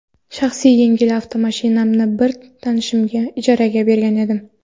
Shaxsiy yengil avtomashinamni bir tanishimga ijaraga bergan edim.